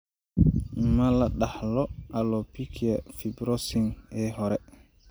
Ma la dhaxlo alopecia fibrosing ee hore?